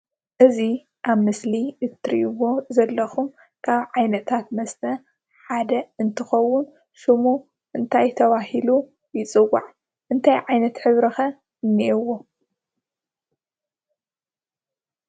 እዙይ ኣብ ምስሊ እትርእይዎ ዘለኩም ካብ ዓይነታት መስተ ሓደ እንትከውን ሽሙ እንታይ ተባህሉ ይፅዋዕ? እንታይ ዓይነት ሕብሪ ከ እንይኤዎ?